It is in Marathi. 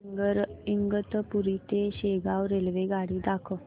इगतपुरी ते शेगाव रेल्वेगाडी दाखव